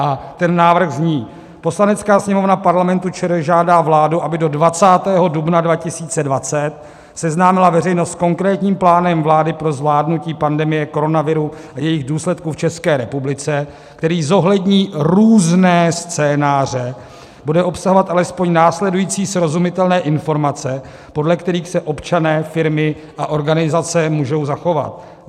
A ten návrh zní: Poslanecká sněmovna Parlamentu ČR žádá vládu, aby do 20. dubna 2020 seznámila veřejnost s konkrétním plánem vlády pro zvládnutí pandemie koronaviru a jejích důsledků v České republice, který zohlední různé scénáře, bude obsahovat alespoň následující srozumitelné informace, podle kterých se občané, firmy a organizace můžou zachovat: